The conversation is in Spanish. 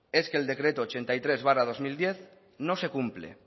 es que el decreto ochenta y tres barra dos mil diez no se cumple